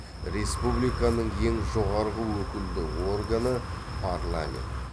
республиканың ең жоғарғы өкілді органы парламент